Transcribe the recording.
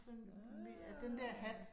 Ah